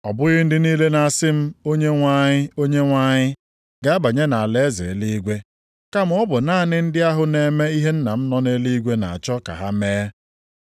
“Ọ bụghị ndị niile na-asị m ‘Onyenwe anyị, Onyenwe anyị,’ ga-abanye nʼalaeze eluigwe, kama ọ bụ naanị ndị ahụ na-eme ihe Nna m nọ nʼeluigwe na-achọ ka ha mee.